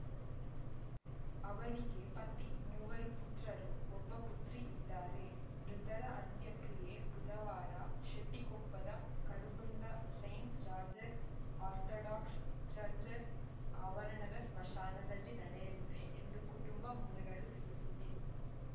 ಅವರಿಗೆ ಪತಿ ಮೂವರು ಪುತ್ರರು ಒಬ್ಬ ಪುತ್ರಿ ಇದ್ದಾರೆ ಮೃತರ ಅಂತ್ಯಕ್ರಿಯೆ ಬುಧವಾರ ಶೆಟ್ಟಿಕೊಪ್ಪದ Karugunda saint George's orthodox church ಆವರಣದ ಸ್ಮಶಾನದಲ್ಲಿ ನಡೆಯಲಿದೆ ಎಂದು ಕುಟುಂಬ ಮೂಲಗಳು ತಿಳಿಸಿವೆ